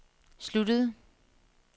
sluttede